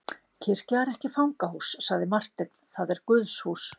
Kirkja er ekki fangahús, sagði Marteinn,-það er Guðshús.